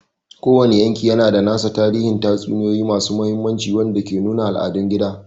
Kowane yanki yana da nasa tarihin tatsuniyoyi masu tsayi wanda ke nuna al'adun gida.